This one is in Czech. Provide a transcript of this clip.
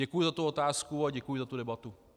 Děkuji za tu otázku a děkuji za tu debatu.